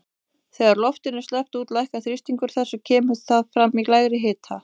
Þegar loftinu er sleppt út lækkar þrýstingur þess og kemur það fram í lægri hita.